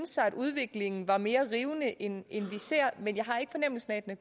sig at udviklingen var mere rivende end vi ser men jeg har ikke fornemmelsen af at